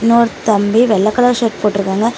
இன்னொரு தம்பி வெள்ளை கலர் ஷர்ட் போட்டுருக்காங்க.